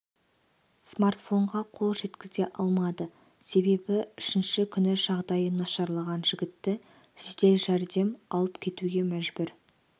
смартфонға қол жеткізе алмады себебі үшінші күні жағдайы нашарлаған жігітті жедел жәрдем алып кетуге мәжбүр